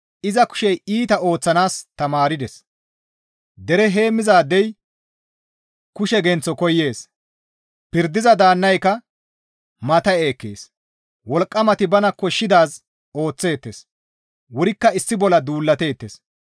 Iza kushey iita ooththanaas tamaardes; dere heemmizaadey kushe genththo koyees; pirdiza daannayka matta7e ekkees; wolqqamati bana koshshidaazi ooththeettes; wurikka issi bolla duulateettes.